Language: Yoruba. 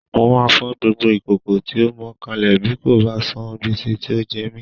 Mo máa fọ́ gbogbo ìkòkò tí ó mọ kalẹ̀ bí kò bá san gbèsè tí ó jẹ mí